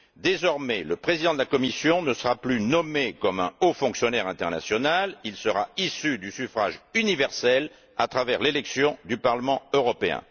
Désormais, le président de la Commission ne sera plus nommé comme un haut fonctionnaire international, il sera issu du suffrage universel, à travers l'élection du Parlement européen.